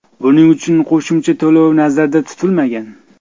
Buning uchun qo‘shimcha to‘lov nazarda tutilmagan.